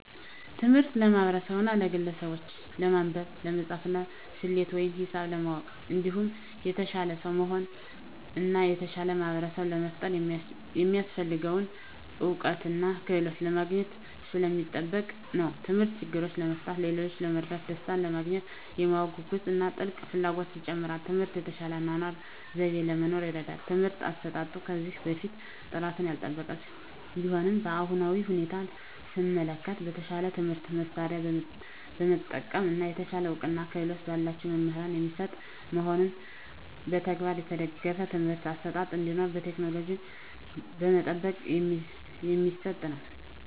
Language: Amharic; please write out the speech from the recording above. ትምህርት ለማህበርሰቡና ለግለሰቡች ለማንበብ፣ ለመፃፍና፣ ሰሌት ወይም ሂሳብ ለማወቅ እንዲሁም የተሻለ ሰው ለመሆን እና የተሻለ ማህበርሰብ ለመፍጠር የሚያሰፍልገውን እውቀትና ክህሎት ለማግኝት ሰለሚጠቅም ነው። ተምህርት ችግሮችን ለመፍታት፣ ሌሎችን ለመርዳት፣ ደሰታንለማግኘት፣ የማወቅ ጉጉትን እና ጥልቅ ፍላጎትን ይጨምራል። ትምህርት የተሻለ የአኗኗር ዘይቤ ለመኖር ይርዳል። የትምህርት አሰጣጡም ከዚህ በፊት ጥራቱን ያልጠበቀ ቢሆንም በአሁናዊ ሁኔታ ሰመለከት በተሻለ የትምህርት መሳርያ በመጠቀም እና የተሻለ እውቀትና ክህሎት በላቸው መምህራን የሚሰጥ መሆኑንና በተግባር የተደገፍ የትምህርት አሰጣጥ እንዲሁም ቴክኖሎጂ በመጠቀም የሚሰጥ ነው።